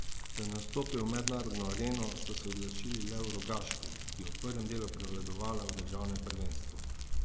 Da ne vstopijo v mednarodno areno, so se odločili le v Rogaški, ki je v prvem delu prevladovala v državnem prvenstvu.